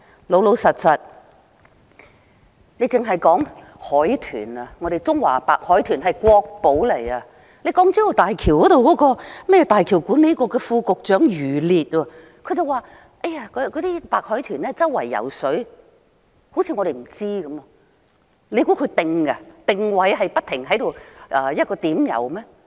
老實說，單說海豚，我們的中華白海豚是國寶，而那個港珠澳大橋管理局副局長余烈卻說白海豚四處游動，好像我們不知道般，難道白海豚會定下來在一個地點游動？